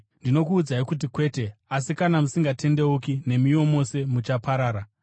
Ndinokuudzai kuti kwete! Asi kana musingatendeuki, nemiwo mose muchaparara.”